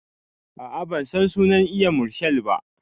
A'a bansan sunan eya marshal ba